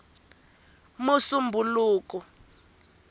musumbhuluku